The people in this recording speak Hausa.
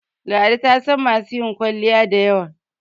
ladi tasan masu yin kwalliya da yawa